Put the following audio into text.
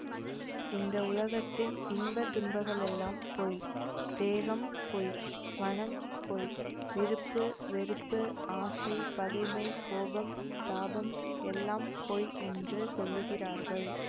இந்த உலகத்தின் இன்ப துன்பகளெல்லாம் பொய் தேகம் பொய் மனம் பொய் விருப்பு வெறுப்பு ஆசை பகைமை கோபம் தாபம் எல்லாம் பொய் என்று சொல்லுகிறார்கள்